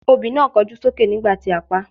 Obì náà kọjú sókè nígbà tí a paá.